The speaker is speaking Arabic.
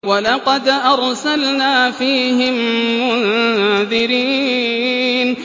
وَلَقَدْ أَرْسَلْنَا فِيهِم مُّنذِرِينَ